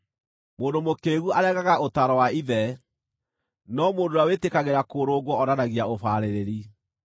Mũndũ mũkĩĩgu aregaga ũtaaro wa ithe, no mũndũ ũrĩa wĩtĩkagĩra kũrũngwo onanagia ũbaarĩrĩri.